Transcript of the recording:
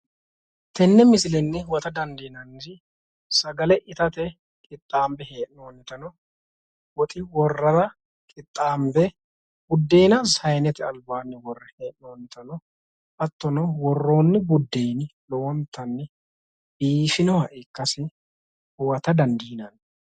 Tenne misilenni huwata dandiinanniri sagale itate qixxaabbe hee'noonnitano woxi worrara qixxaanbe buddeena saanete albaanni worre hee'noonnitano hattono worroonni buddeenino lowonta biifinoha ikkasi huwata dandiinanni.